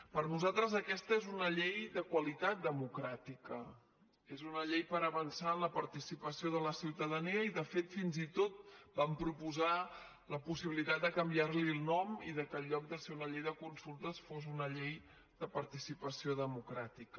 per nosaltres aquesta és una llei de qualitat democràtica és una llei per avançar en la participació de la ciutadania i de fet fins i tot vam proposar la possibilitat de canviar li el nom i que en lloc de ser una llei de consultes fos una llei de participació democràtica